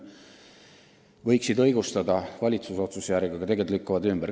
Need võiksid õigustada valitsuse otsust, aga tegelikult ei tee seda.